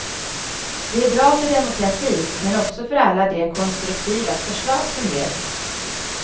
Det är bra för demokratin men också för alla de konstruktiva förslag som ges.